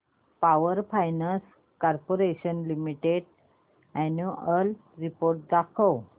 power finance corporation limited annual report दाखव